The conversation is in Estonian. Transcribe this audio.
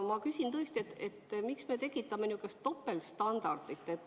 Ma küsin, et miks me tekitame niisugust topeltstandardit.